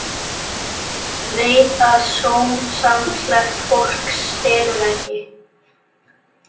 Veit að sómasamlegt fólk stelur ekki.